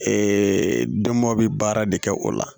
dama bɛ baara de kɛ o la